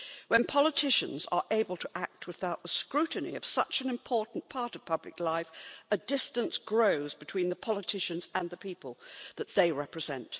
When politicians are able to act without the scrutiny of such an important part of public life, a distance grows between the politicians and the people that they represent.